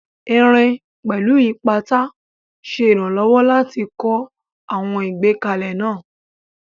Irin, pẹ̀lú ipata, ṣe ìrànlọ́wọ́ láti kọ́ àwọn ìgbékalẹ̀ náà